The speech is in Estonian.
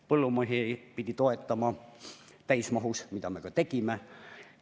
Põllumehi pidi toetama täismahus, mida me ka tegime.